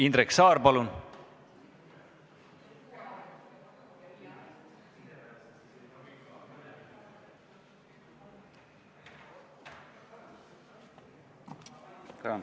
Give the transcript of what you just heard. Indrek Saar, palun!